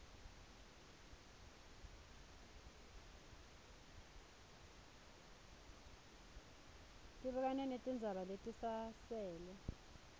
tibukane netindzaba letisasele